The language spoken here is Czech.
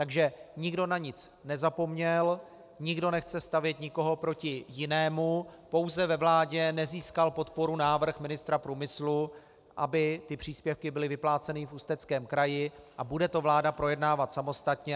Takže nikdo na nic nezapomněl, nikdo nechce stavět nikoho proti jinému, pouze ve vládě nezískal podporu návrh ministra průmyslu, aby ty příspěvky byly vypláceny v Ústeckém kraji, a bude to vláda projednávat samostatně.